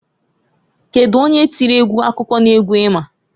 Kedu onye tiri egwu akụkọ n'egwu i ma?